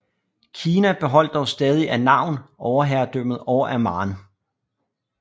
Kina beholdt dog stadig af navn overherredømmet over Amman